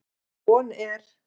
Von er